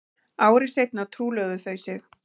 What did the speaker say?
Ári seinna trúlofuðu þau sig